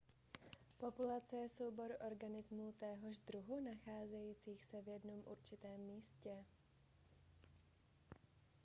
populace je soubor organismů téhož druhu nacházejících se v jednom určitém místě